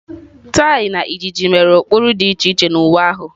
Tie na ịjiji mere ụkpụrụ dị iche iche na uwe ahụ.